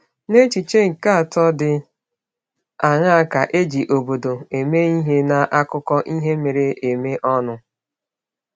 N’echiche nke atọ dị aṅaa ka e ji “obodo” eme ihe n’akụkọ ihe mere eme ọnụ?